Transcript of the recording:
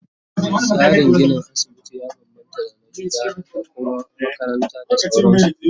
Tsarin ginin asibiti ya bambamta da na gida da Kuma makaranta da sauransu